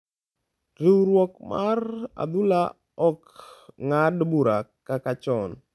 riwruok mar adhula ok ng’ad bura kaka chon.